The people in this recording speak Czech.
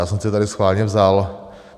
Já jsem si tady schválně vzal...